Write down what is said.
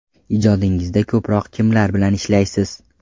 Ijodingizda ko‘proq kimlar bilan ishlaysiz?